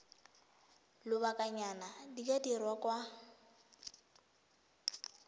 lobakanyana di ka dirwa kwa